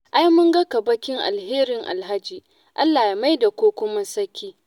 Ai mun ga kaɓakin alherin Alhaji, Allah ya maida ƙoƙo masaki.